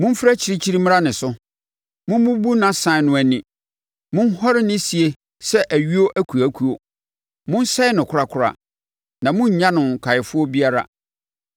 Momfiri akyirikyiri mmra ne so. Mommubu nʼasan no ani; monhɔre no sie sɛ ayuo akuakuo. Monsɛe no korakora na monnnya no nkaeɛfoɔ biara.